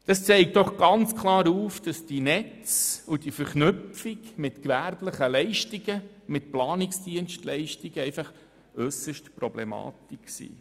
Dies zeigt doch ganz klar, dass die Netze und die Verknüpfung mit gewerblichen Leistungen und Planungsdienstleistungen äusserst problematisch ist.